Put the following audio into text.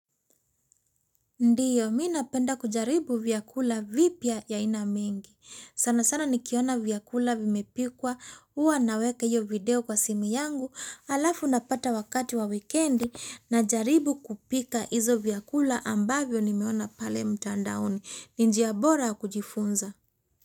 Ndiyo, mimi napenda kujaribu vyakula vipya ya aina mengi. Sana sana nikiona vyakula vimepikwa, huwa naweka hiyo video kwa simu yangu. Halafu napata wakati wa wikendi na jaribu kupika hizo vyakula ambavyo nimeona pale mtandaoni. Ni njia bora ya kujifunza.